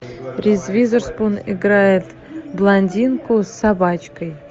риз уизерспун играет блондинку с собачкой